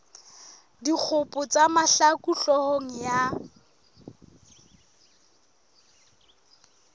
dikgopo tsa mahlaku hloohong ya